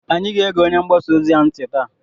Anyị ga-ege onye mgbasaozi ahụ ntị taa.